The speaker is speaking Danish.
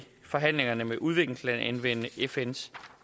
forhandlingerne med udviklingslande anvende fns